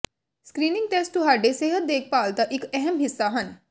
screening test ਤੁਹਾਡੇ ਸਿਹਤ ਦੇਖਭਾਲ ਦਾ ਇੱਕ ਅਹਿਮ ਹਿੱਸਾ ਹਨ